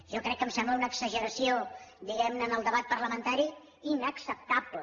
jo crec que em sembla una exageració diguem ne en el debat parlamentari inacceptable